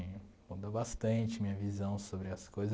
Mudou bastante a minha visão sobre as coisas.